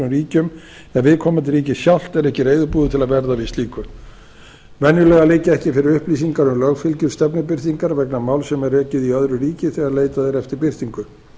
ríkjum ef viðkomandi ríki sjálft er ekki reiðubúið til að verða við slíku venjulega liggja ekki fyrir upplýsingar um lögfylgjur stefnubirtingar vegna máls sem rekið er í öðru ríki þegar leitað er eftir birtingu